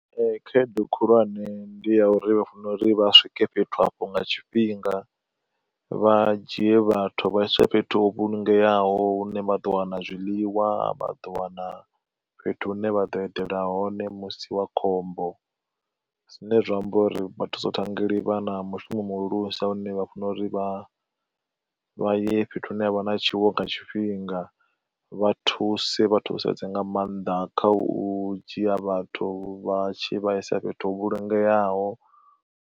Ee khaedu khulwane ndi ya uri vha fanela uri vha swike fhethu afho nga tshifhinga, vha dzhie vhathu vha iswe fhethu ho vhulungeaho hune vha ḓo wana zwiḽiwa vha ḓo wana fhethu hune vha ḓo eḓela hone musi wa khombo. Zwine zwa amba uri vha thusa u ṱhangeli vha na mushumo muhulusa une vha fanela uri vha vha ye fhethu hune ha vha na tshiwo nga tshifhinga, vha thuse vha thusedza nga maanḓa kha u dzhia vhathu vha tshi vha isa fhethu ho vhulungeaho.